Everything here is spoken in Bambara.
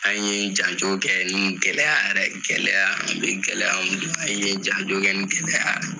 An ye janjo kɛ nin gɛlɛya yɛrɛ gɛlɛya an be gɛlɛya an ye janjo kɛ ni gɛlɛya